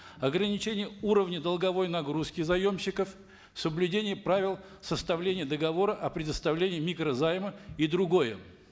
ограничение уровня долговой нагрузки заемщиков соблюдение правил составления договора о предоставлении микрозайма и другое